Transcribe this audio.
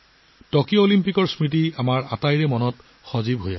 Tokyo অলিম্পিকৰ স্মৃতিবোৰ এতিয়াও আমাৰ সকলোৰে সতেজ হৈ আছে